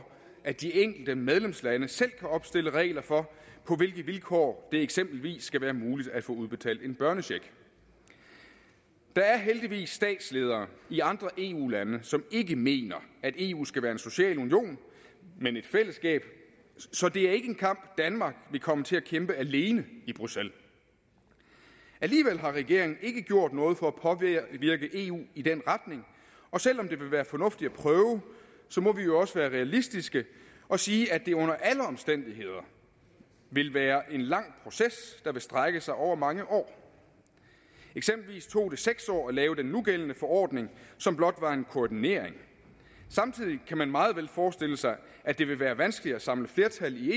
at de enkelte medlemslande selv kan opstille regler for på hvilke vilkår det eksempelvis skal være muligt at få udbetalt en børnecheck der er heldigvis statsledere i andre eu lande som ikke mener at eu skal være en social union men et fællesskab så det er ikke en kamp danmark vil komme til at kæmpe alene i bruxelles alligevel har regeringen ikke gjort noget for at påvirke eu i den retning og selv om det vil være fornuftigt at prøve må vi jo også være realistiske og sige at det under alle omstændigheder vil være en lang proces der vil strække sig over mange år eksempelvis tog det seks år at lave den nugældende ordning som blot var en koordinering samtidig kan man meget vel forestille sig at det vil være vanskeligt at samle flertal i